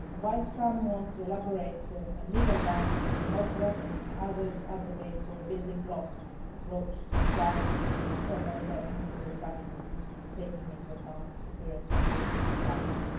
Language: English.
While some want to elaborate a legal ban on nuclear weapons, others advocate a building block approach to disarmament with step by step nuclear reductions, taking into account the current security environment.